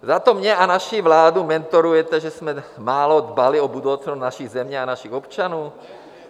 Zato mě a naši vládu mentorujete, že jsme málo dbali o budoucnost naší země a našich občanů?